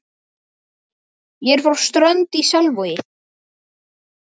Ég er frá Strönd í Selvogi.